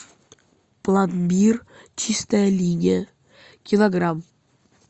пломбир чистая линия килограмм